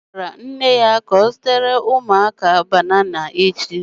Ọ gwara nne ya ka ọ zụtara ụmụaka banana echi